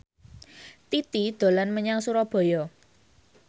Titi dolan menyang Surabaya